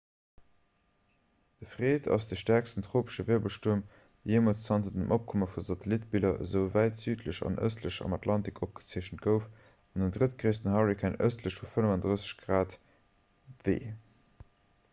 de fred ass de stäerksten tropesche wirbelstuerm dee jeemools zanter dem opkomme vu satellittebiller esou wäit südlech an ëstlech am atlantik opgezeechent gouf an den drëttgréissten hurrikan ëstlech vu 35 °w